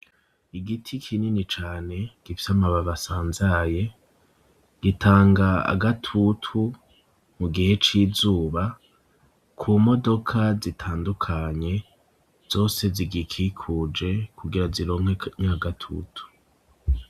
Igiti kinini cane, gifise amababi asanzaye, gitanga agatutu mu gihe c'izuba ku modoka zitandukanye, zose zigikikuje kugira zironke nya gatutu.